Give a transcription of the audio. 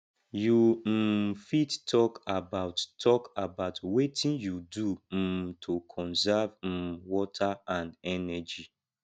you um fit talk about talk about wetin you do um to conserve um water and energy